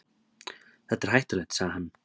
Þetta er hættulegt, sagði hann.